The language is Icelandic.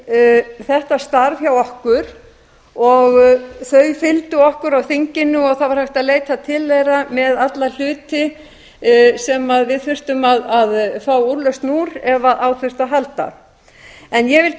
við þetta starf hjá okkur og þau fylgdu okkur á þinginu og það var hægt að leita til þeirra með alla hluti sem við þurftum að fá úrlausn með ef á þurfti að halda ég vil